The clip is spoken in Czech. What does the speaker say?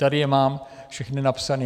Tady je mám všechna napsaná.